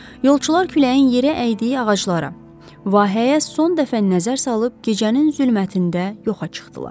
Yolçular küləyin yeri əydiyi ağaclara, vahəyə son dəfə nəzər salıb gecənin zülmətində yoxa çıxdılar.